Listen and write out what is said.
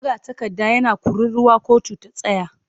Magatakarda yana kururuwa 'kotu ta tsaya!'